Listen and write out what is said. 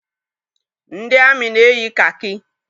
Ndị amị na-eyi kakị